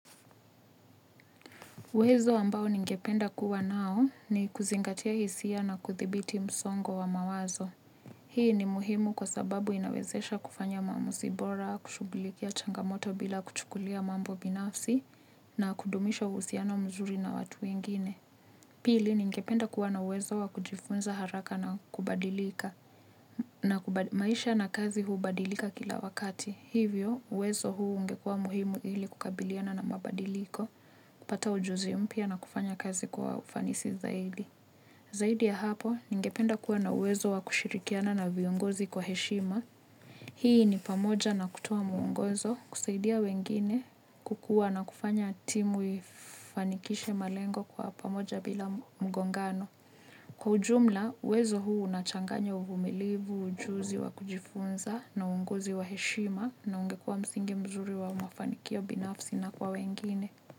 Uwezo ambao ningependa kuwa nao ni kuzingatia hisia na kuthibiti msongo wa mawazo. Hii ni muhimu kwa sababu inawezesha kufanya maamuzi bora, kushughulikia changamoto bila kuchukulia mambo binafsi na kudumisha uhusiano mzuri na watu wengine. Pili ningependa kuwa na uwezo wa kujifunza haraka na kubadilika na maisha na kazi hubadilika kila wakati. Hivyo, uwezo huu ungekua muhimu ili kukabiliana na mabadiliko, kupata ujuzi mpya na kufanya kazi kwa ufanisi zaidi. Zaidi ya hapo, ningependa kuwa na uwezo wa kushirikiana na viongozi kwa heshima. Hii ni pamoja na kutoa mwongozo kusaidia wengine kukua na kufanya timu ifanikishe malengo kwa pamoja bila mgongano. Kwa ujumla, uwezo huu unachanganya uvumilivu, ujuzi wa kujifunza na uongozi wa heshima na ungekua msingi mzuri wa mafanikio binafsi na kwa wengine.